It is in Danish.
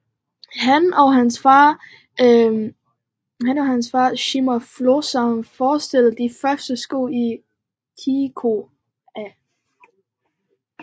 Han og hans far Sigmund Florsheim fremstillede de første sko i Chicago